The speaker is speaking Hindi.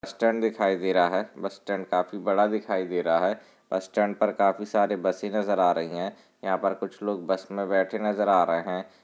स्टैंड दिखाई दे रहा है बस स्टैंड काफी बड़ा दिखाई दे रहा है बस स्टैंड पर काफी सारे बसे नजर आ रही है यहाँ पर कुछ लोग बस मैं बैठे नजर आ रहे है।